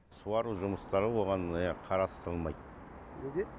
суару жұмыстары оған қарастырылмайды неге